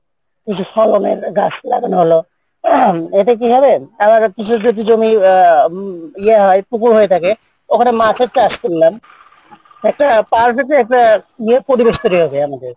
এতে কি হয় আমার কিছু যদি জমি আহ ইয়ে হয় পুকুর হয়ে থাকে মাছ চাষ করি